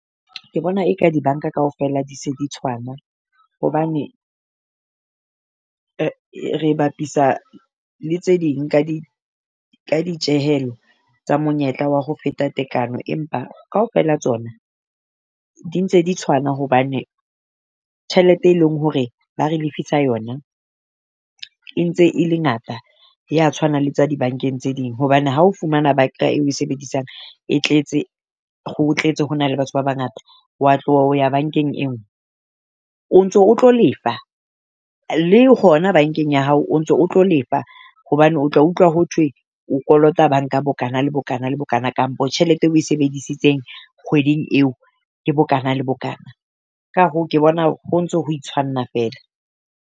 Ke bona e ka di bank-a kaofela di se tshwana hobane, re bapisa le tse ding ka di ka di tjehelo tsa monyetla wa ho feta tekano, empa kaofela tsona di ntse di tshwana hobane. Tjhelete e leng hore ba re lefisa yona e ntse e le ngata ya tshwana le tsa di bank-eng tse ding. Hobane ha o fumana bank-a eo ba e sebedisang e tletse ho tletse ho na le batho ba bangata wa tloha ho ya bankeng e nngwe. O ntso o tlo lefa le hona bank-eng ya hao o ntso o tlo lefa hobane o tla utlwa ho thwe o kolota bank-a bokana le bokana le bokana. Kampo tjhelete eo oe sebedisitseng kgweding eo, ke bokana le bokana. Ka hoo ke bona ho ntso ho itshwanna feela.